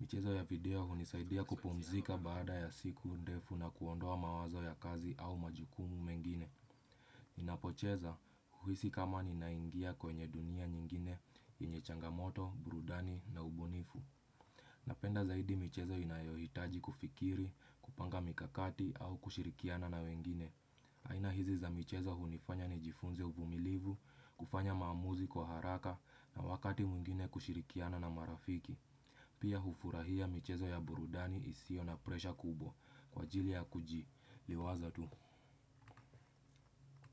Michezo ya video hunisaidia kupumzika baada ya siku ndefu na kuondoa mawazo ya kazi au majukumu mengine. Ninapocheza huhisi kama ninaingia kwenye dunia nyingine yenye changamoto, burudani na ubunifu. Napenda zaidi michezo inayohitaji kufikiri, kupanga mikakati au kushirikiana na wengine. Aina hizi za michezo hunifanya nijifunze uvumilivu, kufanya maamuzi kwa haraka na wakati mwingine kushirikiana na marafiki. Pia hufurahia michezo ya burudani isiyo na presha kubwa kwa ajili ya kujiliwaza tu.